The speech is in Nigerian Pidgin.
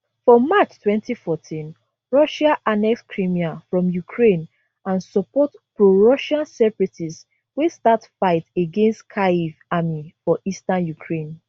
for march 2014 russia annex crimea from ukraine and support prorussian separatists wey start fight against kyiv army for eastern ukraine